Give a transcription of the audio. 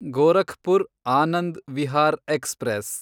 Gorakhpur Anand Vihar express